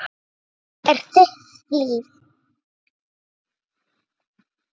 Þetta er þitt líf!